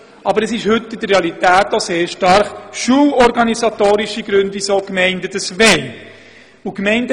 Aber in der Realität stehen heute oft schulorganisatorische Überlegungen im Vordergrund.